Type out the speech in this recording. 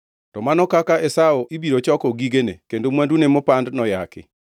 To mano kaka Esau ibiro choko gigene kendo mwandune mopandi noyaki!